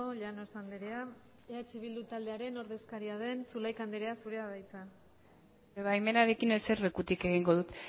llanos andrea eh bildu taldearen ordezkaria den zulaika andrea zurea da hitza zure baimenarekin eserlekutik egingo dut